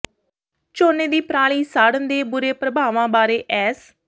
ਝੋਨੇ ਦੀ ਪਰਾਲੀ ਸਾੜਣ ਦੇ ਬੁਰੇ ਪ੍ਰਭਾਵਾਂ ਬਾਰੇ ਐਸ